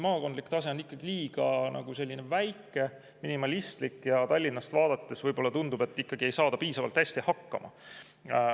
Maakondlik tase on ikkagi liiga väike, minimalistlik ja Tallinnast vaadates võib-olla tundub, et ikkagi ei saada piisavalt hästi hakkama.